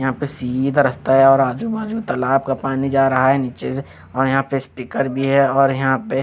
यहाँ पे सीधा रस्ता है और आजूबाजू तलाब का पानी जा रहा है निचे से और यहाँ पे स्टीकर भी है और यहाँ पे--